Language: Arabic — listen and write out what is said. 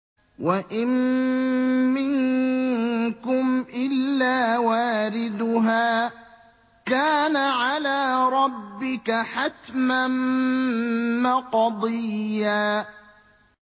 وَإِن مِّنكُمْ إِلَّا وَارِدُهَا ۚ كَانَ عَلَىٰ رَبِّكَ حَتْمًا مَّقْضِيًّا